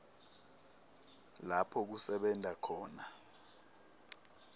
lapho kusebenta khona